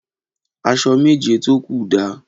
Aṣọ méjé tó kú dà?